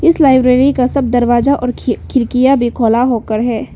इस लाइब्रेरी का सब दरवाजा और खिड़कियां भी खुला होकर है।